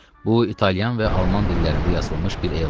Bu İtalyan və Alman dillərində yazılmış bir elan idi.